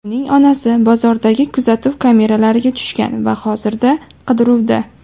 Uning onasi bozordagi kuzatuv kameralariga tushgan va hozirda qidiruvda.